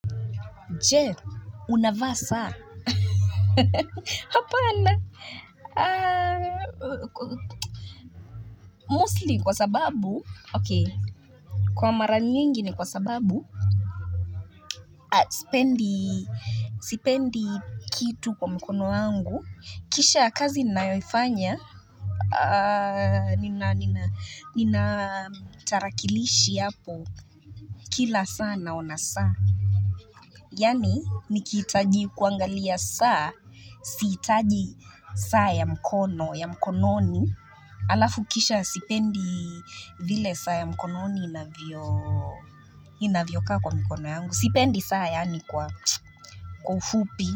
Je, unavaa saa hapana mostly kwa sababu, okay, kwa mara nyingi ni kwa sababu sipendi kitu kwa mkono wangu kisha kazi ninayoifanya nina tarakilishi hapo, kila saa naona saa Yaani, nikihitaji kuangalia saa, sihitaji saa ya mkono, ya mkononi, alafu kisha sipendi vile saa ya mkononi inavyokaa kwa mkono yangu, sipendi saa yaani kwa ufupi.